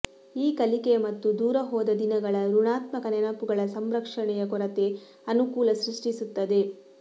ಈ ಕಲಿಕೆಯ ಮತ್ತು ದೂರ ಹೋದ ದಿನಗಳ ಋಣಾತ್ಮಕ ನೆನಪುಗಳ ಸಂರಕ್ಷಣೆಯ ಕೊರತೆ ಅನುಕೂಲ ಸೃಷ್ಟಿಸುತ್ತದೆ